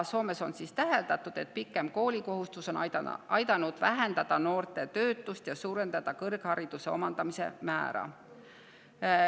Soomes on täheldatud, et pikem koolikohustus on aidanud vähendada noorte töötust ja suurendada kõrghariduse omandamise määra.